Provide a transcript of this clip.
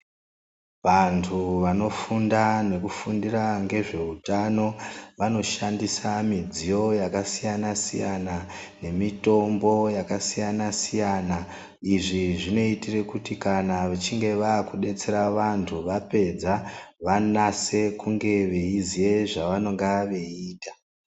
Vantu vanofunda nekufundira ngezveutano vanoshandisa midziyo yakasiyana siyana nemitombo yakasiyana siyana izvi zvinoitire kuti kana vechinge vakudetsera vantu vapedza vanase kunge veiziye zvavanonga veiita.